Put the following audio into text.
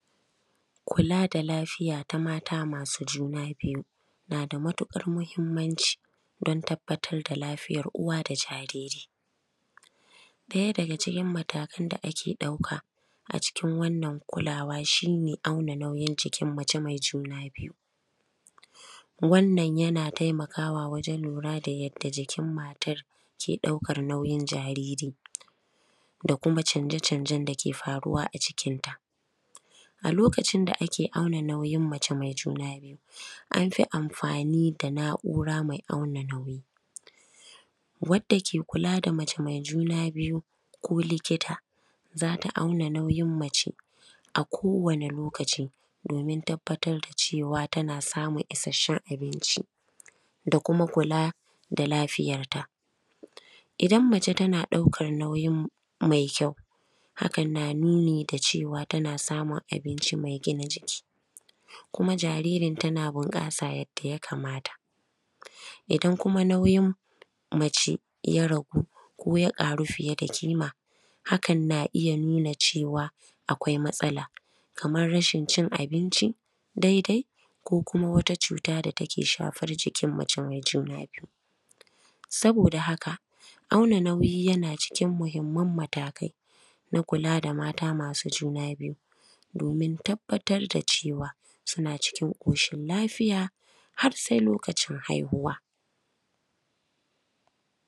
Kula da lafiya ta mata masu juna biyu na da matuƙar muhimmanci don tabbatar da lafiyar uwa da jariri, ɗaya daga cikin mataƙan da ake ɗauka a cikin wannan kulawa shi ne, hauna nauyin cikin mace mai juna biyu, wannan yana taimakawa wajen lura da yadda jikin matar ke ɗaukar nauyin jariri da kuma canje-canjen da ke faruwa a jikinta, a lokacin da ake auna nauyin mace mai juna biyu an fi amfani da naura mai auna nauyi wadda ke kula da mace mai juna biyu ko likita zata zata auna nauyin mace a kowane lokaci, domin tabbatar da cewa tana samun isasshen abinci da kuma kula da lafiyar ta idan mace tana ɗaukar nauyin mai kyau, hakan na nuni cewa tana samun abinci mai gina jiki kuma jaririn tana bunƙasa yadda ya kamata idan kuma nauyin mace ya ragu ko ya faru fiye da kima, hakan na iya nuna cewa akwai matsala kamar rashin cin abinci daidai ko kuma wata cuta da take shafar jikin mace mai juna biyu, saboda haka auna nauyi na cikin muhimman matakai na kula da mata masu juna biyu, domin tabbatar da cewa suna cikin koshin lafiya har sai lokacin haihuwa.